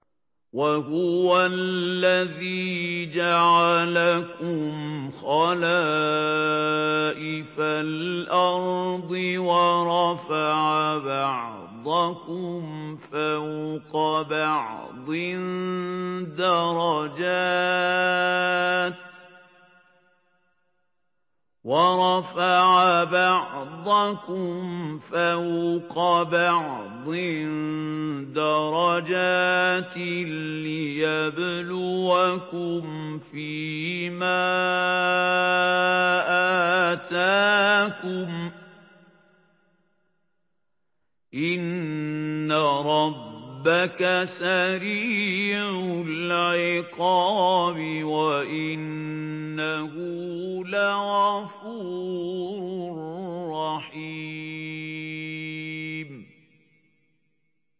وَهُوَ الَّذِي جَعَلَكُمْ خَلَائِفَ الْأَرْضِ وَرَفَعَ بَعْضَكُمْ فَوْقَ بَعْضٍ دَرَجَاتٍ لِّيَبْلُوَكُمْ فِي مَا آتَاكُمْ ۗ إِنَّ رَبَّكَ سَرِيعُ الْعِقَابِ وَإِنَّهُ لَغَفُورٌ رَّحِيمٌ